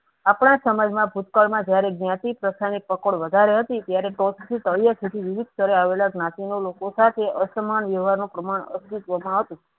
આ પણ સમાજમાં ભૂતકાળમાં જયારે જ્ઞાતિ પ્રથાની પકડ વધારે હતી તયારે વિવિઘ સથળે આવેલા જ્ઞાતિ નો લોકો સાથે અસમાન વ્યવહાર નો પ્રમાણ અસ્તિત્વમાં હતું